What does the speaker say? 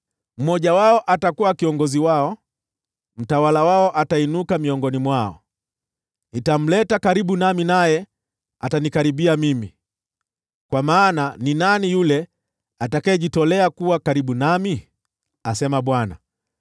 Mmoja wao atakuwa kiongozi wao; mtawala wao atainuka miongoni mwao. Nitamleta karibu nami, naye atanikaribia mimi, kwa maana ni nani yule atakayejitolea kuwa karibu nami?’ asema Bwana .